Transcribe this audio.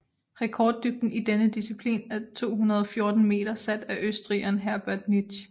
Rekorddybden i denne disciplin er 214 meter sat af østrigeren Herbert Nitsch